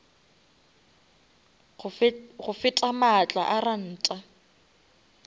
go feta maatla a ranta